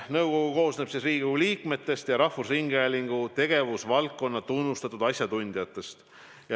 Nõukogu koosneb Riigikogu liikmetest ja rahvusringhäälingu tegevusvaldkonna tunnustatud asjatundjatest.